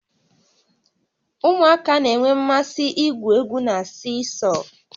Ụmụaka na-enwe mmasị igwu egwu na siisọọ